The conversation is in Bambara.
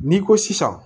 N'i ko sisan